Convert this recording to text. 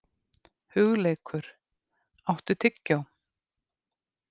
Hugleikur, áttu tyggjó?